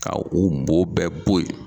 Ka u bo bɛɛ bo yen